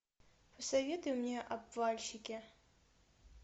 посоветуй мне обвальщики